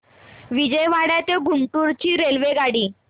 विजयवाडा ते गुंटूर ची रेल्वेगाडी